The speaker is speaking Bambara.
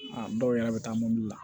A dɔw yɛrɛ bɛ taa mobili la